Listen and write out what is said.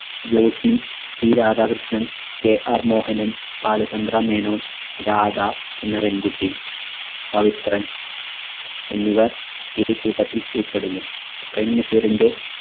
Joshi C Radhakrishnan KR Mohanan Balachandra Menon Radha എന്ന പെൺകുട്ടി പവിത്രൻ എന്നിവർ ഈ കൂട്ടത്തിൽ ഉൾപ്പെടുന്നു. പ്രേം നസീറിന്റെ